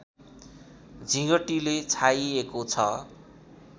झिँगटीले छाइएको छ